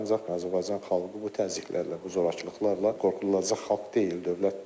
Ancaq Azərbaycan xalqı bu təzyiqlərlə, bu zorakılıqlarla qorxulacaq xalq deyil, dövlət deyil.